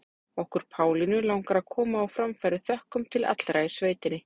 Okkur Pálínu langar að koma á framfæri þökkum til allra í sveitinni.